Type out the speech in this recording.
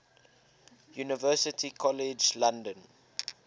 university college london